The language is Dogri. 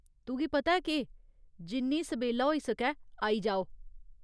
तुगी पता ऐ केह्, जिन्नी सबेल्ला होई सकै आई जाओ।